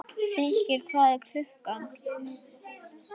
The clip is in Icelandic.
Feykir, hvað er klukkan?